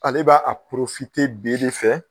Ale b'a a b'i de fɛ.